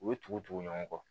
U ye tugu tugu ɲɔgɔn kɔ